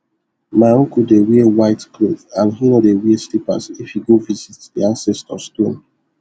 my uncle dey wear white cloth and he no dey wear slippers if he go visit the ancestor stone